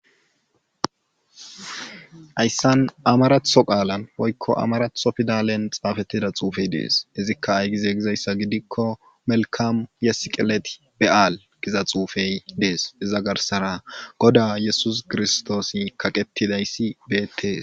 Hayssan amaratho qaalan woykko amaratho pidalen xaafettida xuufey dees izikka ay gize gizayssa gidikko melkkaam ye siqilet be7al giza xuufey de7ees iza garssara goda yesuus kiristtoosi kaqettidayssi beettees.